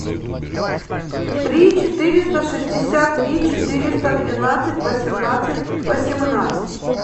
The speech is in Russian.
три четыреста шестьдесят три четыреста двенадцать восемнадцать восемнадцать